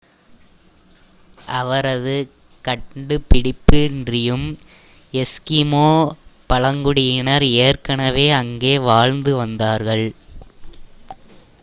அவரது கண்டுபிடிப்பின்றியும் எஸ்கிமோ பழங்குடியினர் ஏற்கனவே அங்கே வாழ்ந்து வந்தார்கள்